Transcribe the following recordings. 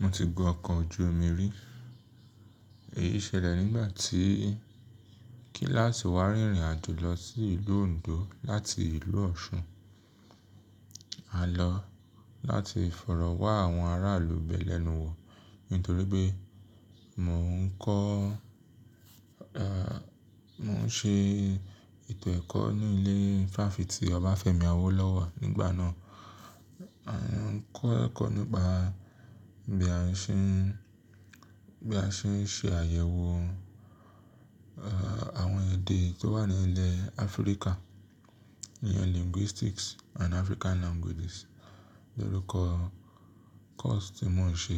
Mo ti gun ọkọ̀ ojú omi rí. Èyí ṣẹlẹ̀ nígbà tí kíláàsì wa rìnrìn àjò lọ sí ìlú Ondo láti ìlú Ọ̀ṣun. A lọ láti ìfọ̀rọ̀ wá àwọn aráàlú bẹ̀ lẹ́nu wò. Nítorí pé mò ń kọ́, ẹ́, mò ń ṣe ètò ẹ̀kọ́ ní ilé fáfitì Obafemi Awolowo nígbà náà. À ń kọ́ ẹ̀kọ́ nípa bí a ṣe ń, bí a ṣe ń ṣe àyẹ̀wò, ẹ́, àwọn èdè tó wà ní ilẹ̀ Áfríkà. Níyan Linguistics and African Languages lórúkọ kọ́ọ̀sì tí mò ń ṣe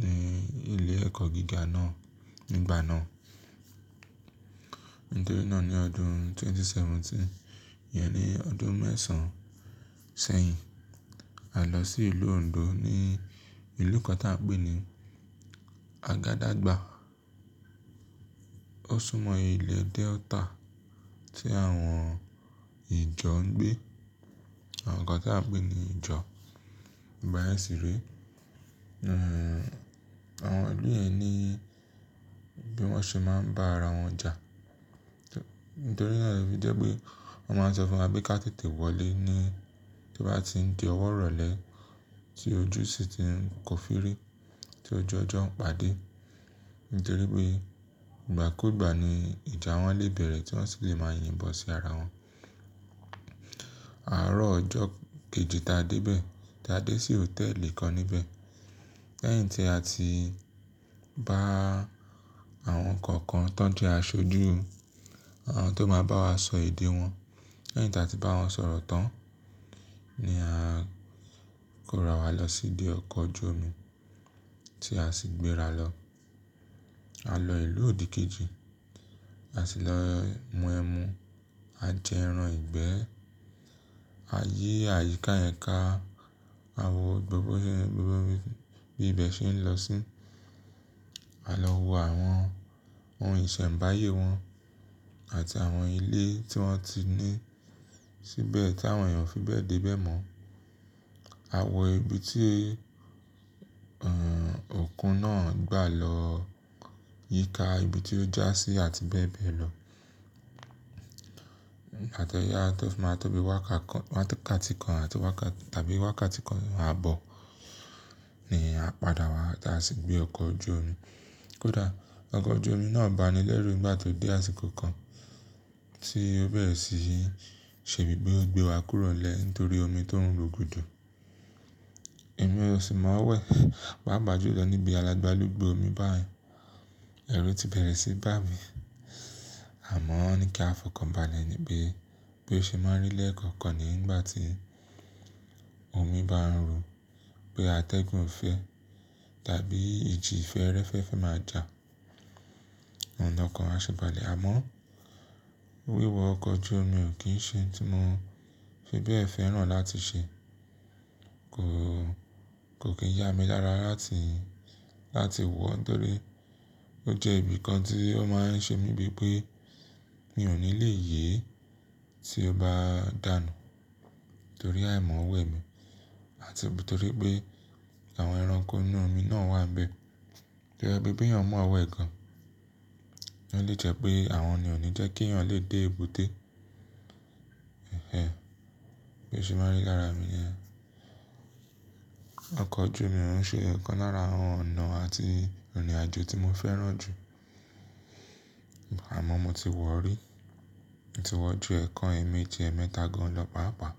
ní ilé ẹ̀kọ́ gíga náà nígbà náà. Nítorí náà ní ọdún ẹgbẹ̀rún méjì ó lé mẹ́tàdínlógún, ìyẹn ni ọdún mẹ́sàn-án sẹ́yìn, a lọ sí ìlú Ondo ní ìlú kan tí a ń pè ní Agadaagba. Ó súnmọ́ ilẹ̀ Delta tí àwọn ìjọ ń gbé, àwọn kan tí a ń pè ní ìjọ. Ìgbà yẹn sì rẹ́, àwọn ìlú yẹn ní bí wọ́n ṣe máa ń bá ara wọn jà. Nítorí náà bí jẹ́ pé wọ́n máa ń sọ fún wa pé ká tètè wọlé ní bí bá ti ń di ọwọ́ rọ̀lẹ́ tí ojú sì ti ń kó firi, tí ojú ọjọ́ ń pàdé. Nítorí pé ìgbà kú ìgbà ni ìjà àwọn lé bẹ̀rẹ̀ tí wọ́n sì lè máa yìn bọ̀ sí ara wọn. Àárọ̀ ọjọ́ kejì tá a dé bẹ̀, tá a dé sí hòtẹ́ẹ̀lì kan níbẹ̀. Lẹ́yìn tí a ti bá àwọn kan kan tó ń jẹ́ aṣojú, àwọn tó máa bá wa sọ èdè wọn. Lẹ́yìn tí a ti bá wọn sọ̀rọ̀ tán ni a kó ra wá lọ sí dé ọkọ̀ ojú omi tí a sì gbéra lọ. A lọ ìlú òdìkejì, a sì lọ mu ẹmu, a jẹ ẹran ìgbẹ́, a yí àyíká yẹn ká, a wọ gbogbo ibi, gbogbo ibi bí ibẹ̀ ṣe ń lọ sí. A lọ wo àwọn ohun ìsẹ̀mbáyé wọn àti àwọn ilé tí wọ́n ti ní síbẹ̀ tí àwọn èèyàn fi bẹ̀ dé bẹ̀ mọ́. A wọ ibi tí, ẹ́, òkun náà gbà lọ yíká ibi tí ó já sí àti bẹ́ẹ̀ bẹ́ẹ̀ lọ. Àtẹ́ yá tó máa tó bí wákàtí kan àti tàbí wákàtí kan ààbọ̀ ni a padà wá tá a sì gbé ọkọ̀ ojú omi. Kódà ọkọ̀ ojú omi náà banilẹ́rú nígbà tó dé àsìkò kan tí ó bẹ̀rẹ̀ sí í ṣe bíi pé ó gbé wa kúrò lẹ́, nítorí omi tó ń ro gúdú. Ẹ̀mí ò sì máa wẹ̀, páa pàjú lọ níbi alágbalúgbú omi báyìí. Ẹ̀rù ti bẹ̀rẹ̀ sí í bà mí. Àmọ́ wọ́n ní kí a fọkàn bá lẹ̀ níbí bí ó ṣe máa ń rí lẹ́ẹ̀kọ̀kan nígbà tí omi bá ń ro pé atẹ́gùn fẹ́ tàbí ìjì ìfẹ́ẹ́rẹ́fẹ́ máa jà. Ọ̀nà kan a ṣẹ bàlẹ̀, àmọ́ wíwọ ọkọ̀ ojú omi ò kí ń ṣe ohun tí mò ń fi bẹ́ẹ̀ fẹ́ràn láti ṣe. Kò, kò kí ń ya mi lára láti, láti wọ̀ nítorí ó jẹ́ ibi kan tí ó máa ń ṣe mí bíi pé mi ò ní lè yè é tí ó bá dànù. Nítorí àìmọ́wẹ̀ mi àti nítorí pé àwọn ẹranko inú omi náà wà níbẹ̀. Bí jẹ́ pé bí èèyàn mọ̀wẹ̀ gan-an, ó lè jẹ́ pé àwọn ni ò ní jẹ́ kí èèyàn lè dé èbúté. Ẹ̀hẹ́n, bí ó ṣe máa ń rí lára mi yẹn. Ọkọ̀ ojú omi o ń ṣe ẹ̀kan lára àwọn ọ̀nà àti ìrìnàjò tí mo fẹ́ràn jù. Àmọ́ mo ti wọ̀ rí, mo ti wọ̀ ju ẹ̀ẹ̀kan, èèmejì, ẹ̀ẹ̀mẹ́ta gan lọ pàápàá.